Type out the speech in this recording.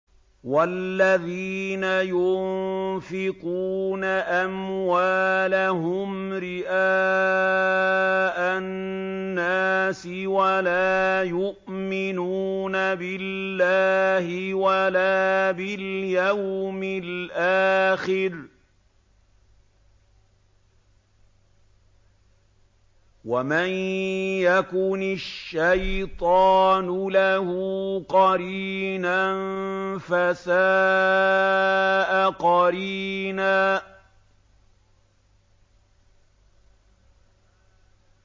وَالَّذِينَ يُنفِقُونَ أَمْوَالَهُمْ رِئَاءَ النَّاسِ وَلَا يُؤْمِنُونَ بِاللَّهِ وَلَا بِالْيَوْمِ الْآخِرِ ۗ وَمَن يَكُنِ الشَّيْطَانُ لَهُ قَرِينًا فَسَاءَ قَرِينًا